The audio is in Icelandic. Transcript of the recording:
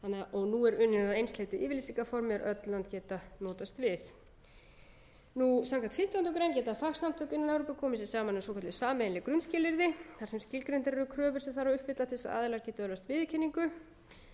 og nú er unnið að einsleitu yfirlýsingarformi er öll lönd geti notast við samkvæmt fimmtándu greinar geta fagsamtök innan evrópu komið sér saman um svokölluð sameiginleg grunnskilyrði þar sem skilgreindar eru kröfur sem þarf að uppfylla til að aðilar geti öðlast